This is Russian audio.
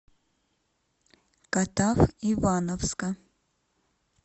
катав ивановска